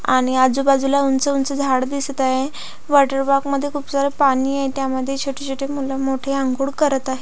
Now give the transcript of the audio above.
आणि आजूबाजूला उंच उंच झाड दिसत आहेत वॉटर पार्क मध्ये खूप सारे पाणी आहे आणि त्यामध्ये छोटी छोटी मूल मोठी आंघोळ करत आहेत.